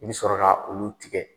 I bi sɔrɔ ka olu tigɛ